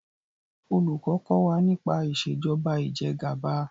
olùkó kò wá nipa Ìṣèjọba Ìjẹgàba